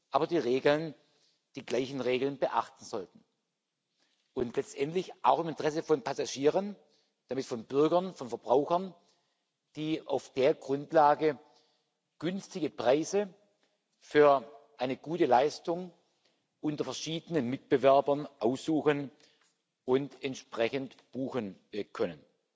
aber die gleichen Regeln beachten sollten, und letztendlich auch im Interesse von Passagieren, nämlich von Bürgern, von Verbrauchern, die auf dieser Grundlage günstige Preise für eine gute Leistung unter verschiedenen Mitbewerbern aussuchen und entsprechend buchen können.